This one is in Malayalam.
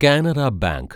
കാനറ ബാങ്ക്